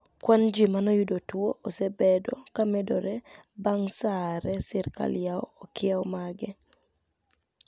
Kwani ji manoyudo tuo osebedo kamedore banig Saaa hare sirkal yaw okieo mage.